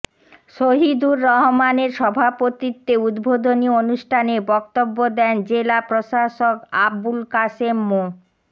শহীদুর রহমানের সভাপতিত্বে উদ্বোধনী অনুষ্ঠানে বক্তব্য দেন জেলা প্রশাসক আবুল কাশেম মো